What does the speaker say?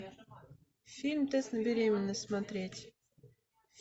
фильм тест на беременность смотреть